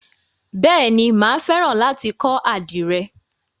Bèéni, máa fẹ́ràn láti kọ́ àdìrẹ.